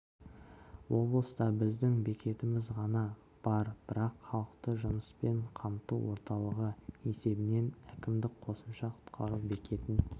облыста біздің бекетіміз ғана бар бірақ халықты жұмыспен қамту орталығы есебінен әкімдік қосымша құтқару бекетін